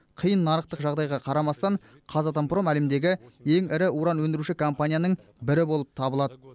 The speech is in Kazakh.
қиын нарықтық жағдайға қарамастан қазатомпром әлемдегі ең ірі уран өндіруші компанияның бірі болып табылады